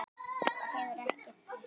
Það hefur ekkert breyst.